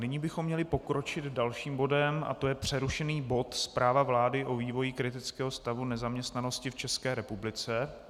Nyní bychom měli pokročit dalším bodem a to je přerušený bod Zpráva vlády o vývoji kritického stavu nezaměstnanosti v České republice.